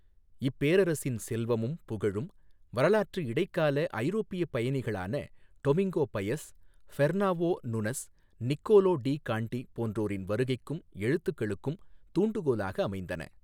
இப்பேரரசின் செல்வமும் புகழும் வரலாற்று இடைக்கால ஐரோப்பியப் பயணிகளான Domingo Paes, Fernao Nunes, Niccolo de Conti போன்றோரின் வருகைக்கும் எழுத்துக்களுக்கும் தூண்டுகோலாக அமைந்தன.